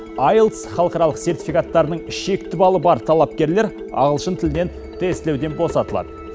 айелтс халықаралық сертификаттарының шекті балы бар талапкерлер ағылшын тілден тестілеуден босатылады